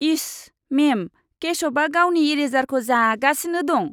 इश! मेम, केशवआ गावनि इरेजारखौ जागासिनो दं।